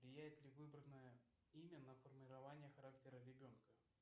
влияет ли выбранное имя на формирование характера ребенка